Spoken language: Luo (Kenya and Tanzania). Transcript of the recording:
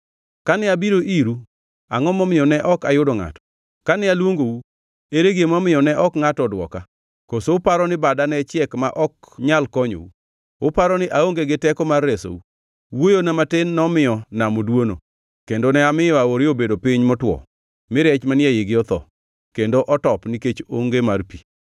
Kane abiro iru, angʼo momiyo ne ok ayudo ngʼato? Kane aluongou, ere gima omiyo ne ok ngʼato odwoka? Koso uparo ni bada ne chiek ma ok nyal konyou? Uparo ni aonge gi teko mar resou? Wuoyona matin nomiyo nam oduono, kendo ne amiyo aore obedo piny motwo mi rech manie eigi otho kendo otop nikech onge mar pi.